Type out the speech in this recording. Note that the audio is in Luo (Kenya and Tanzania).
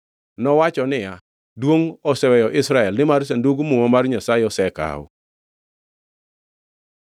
Nowacho niya, “Duongʼ oseweyo Israel, nimar Sandug Muma mar Nyasaye osekaw.”